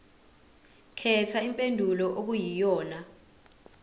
khetha impendulo okuyiyona